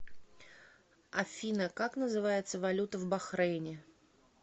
афина как называется валюта в бахрейне